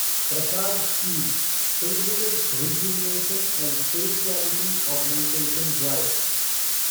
Prasad scheme pilgrimage rejuvenation and spirituality augmentation drive